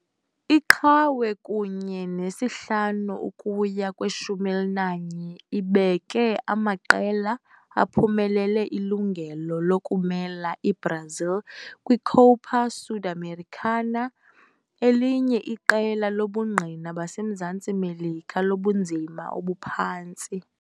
Iqhawe kunye ne-5 ukuya kwe-11 ibeke amaqela aphumelele ilungelo lokumela iBrazil kwiCopa Sudamericana, elinye iqela lobungqina baseMzantsi Melika lobunzima obuphantsi.